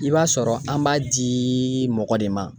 I b'a sɔrɔ an b'a di mɔgɔ de ma